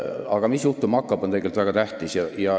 Aga see, mis juhtuma hakkab, on tegelikult väga tähtis.